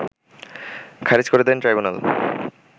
খারিজ করে দেন ট্রাইব্যুনাল